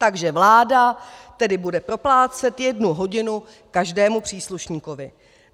Takže vláda tedy bude proplácet jednu hodinu každému příslušníkovi.